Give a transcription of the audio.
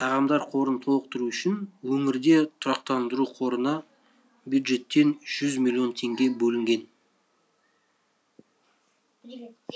тағамдар қорын толықтыру үшін өңірде тұрақтандыру қорына бюджеттен жүз миллион теңге бөлінген